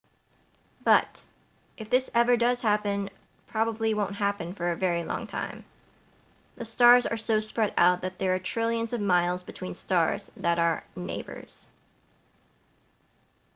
but if this ever does happen probably won't happen for a very long time the stars are so spread out that there are trillions of miles between stars that are neighbors